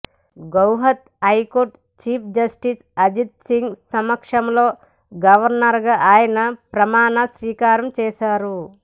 Guwahati high court chief justice Ajit Singh సమక్షంలో గవర్నర్గా ఆయన ప్రమాణస్వీకారం చేశారు